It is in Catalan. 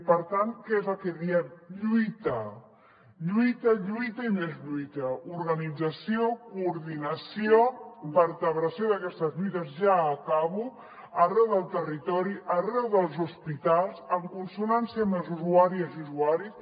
per tant què és el que diem lluita lluita lluita i més lluita organització coordinació vertebració d’aquestes lluites ja acabo arreu del territori arreu dels hospitals en consonància amb les usuàries i usuaris